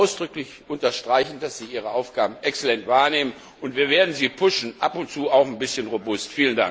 Ich möchte ausdrücklich unterstreichen, dass Sie Ihre Aufgaben exzellent wahrnehmen, und wir werden Sie anstoßen, ab und zu auch ein bisschen robust.